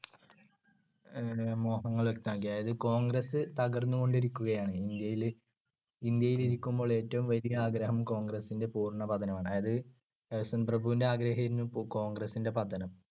അഹ് മോഹങ്ങളൊ അതായത് കോൺഗ്രസ്സ് തകർന്നുകൊണ്ടിരിക്കയാണ്. ഇന്ത്യയിൽ. ഇന്ത്യയിൽ ഇരിക്കുമ്പോൾ ഏറ്റവും വലിയ ആഗ്രഹം കോൺഗ്രസിന്‍ടെ പൂർണപതനമാണ്. അതായത് കഴ്സൺ പ്രഭുവിന്‍ടെ ആഗ്രഹമായിരുന്നു കോൺഗ്രസിന്‍ടെ പതനം.